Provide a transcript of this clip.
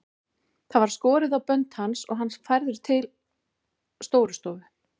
Það var skorið á bönd hans og hann færður til Stórustofu.